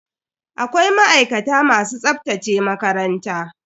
Akwai ma'aikata masu tsaftace makaranta.